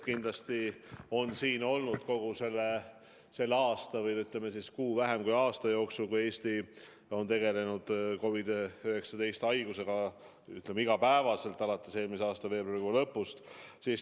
Eesti on COVID-19 haigusega iga päev tegelenud kogu selle aasta jooksul või, ütleme siis, kuu vähem kui aasta jooksul, alates eelmise aasta veebruarikuu lõpust.